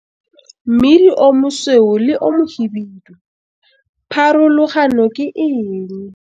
Mmidi o mosweu le o mohibidu - pharologano ke eng?